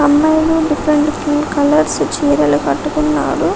అమ్మాయి different different colours చీరలు కట్టుకున్నారు